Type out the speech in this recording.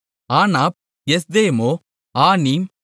ஆனாப் எஸ்தெமொ ஆனீம்